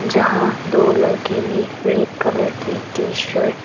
जहां दो लोगों ने रेड कलर की टी_शर्ट --